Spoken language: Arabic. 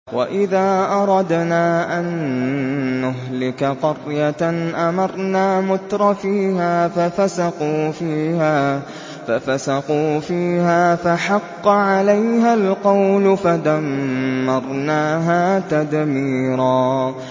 وَإِذَا أَرَدْنَا أَن نُّهْلِكَ قَرْيَةً أَمَرْنَا مُتْرَفِيهَا فَفَسَقُوا فِيهَا فَحَقَّ عَلَيْهَا الْقَوْلُ فَدَمَّرْنَاهَا تَدْمِيرًا